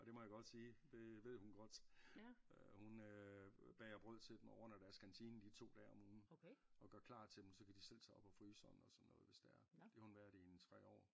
Og det må jeg godt sige det ved hun godt øh hun øh bager brød til dem og ordner deres kantine de 2 dage om ugen og gør klar til dem så kan de selv tage op af fryseren og sådan noget hvis det er det har hun været i en 3 år